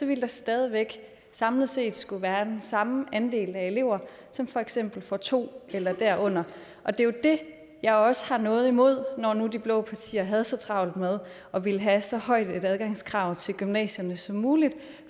ville der stadig væk samlet set skulle være den samme andel af elever som for eksempel får to eller derunder og det er det jeg også har noget imod når nu de blå partier havde så travlt med at ville have så højt et adgangskrav til gymnasierne som muligt